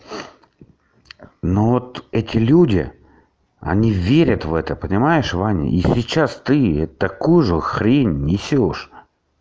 ну вот эти люди они верят в это понимаешь ваня и сейчас ты такую же хрень несёшь